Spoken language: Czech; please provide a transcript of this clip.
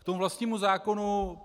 K tomu vlastnímu zákonu.